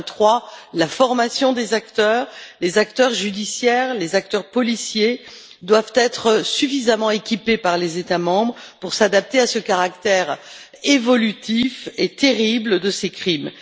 Troisièmement, la formation des acteurs les acteurs judiciaires et policiers doivent être suffisamment équipés par les États membres pour s'adapter à ce caractère évolutif et terrible de ces crimes.